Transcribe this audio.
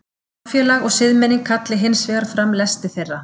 Samfélag og siðmenning kalli hins vegar fram lesti þeirra.